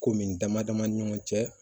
Ko min dama dama ni ɲɔgɔn cɛ